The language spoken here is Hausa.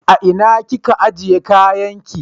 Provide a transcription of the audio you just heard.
A ina kika ajiye kayan ki?